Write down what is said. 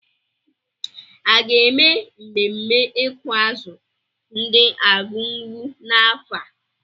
A ga-eme mmemme ịkụ azụ ndi Argungu n'afọ a?